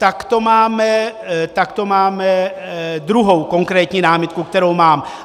Tak to máme druhou konkrétní námitku, kterou mám.